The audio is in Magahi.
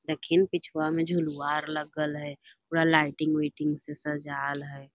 लेकिन पिछुआ में झुलवा आर लगल हई पूरा लाइटिंग उईटिंग से सज़ाएल हई।